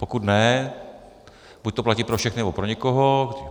Pokud ne, buď to platí pro všechny, nebo pro nikoho.